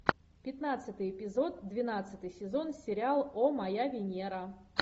пятнадцатый эпизод двенадцатый сезон сериал о моя венера